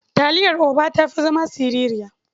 Taliyar OBA ta fi zama sirirya.